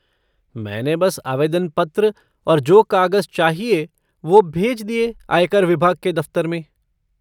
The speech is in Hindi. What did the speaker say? मैंने बस आवेदन पत्र और जो कागज चाहिए वो भेज दिये आयकर विभाग के दफ़्तर में।